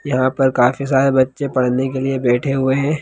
यहाँ पर काफी सारे बच्चे पढ़ने के लिए बैठे हुए हैं।